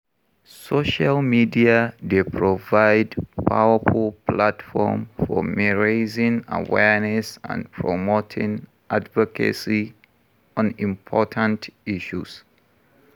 Social media dey provide powerful platform for raising awareness and promoting advocacy on important issues.